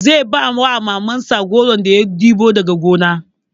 Zai ba Mamansa goron da ya ɗebo daga gona.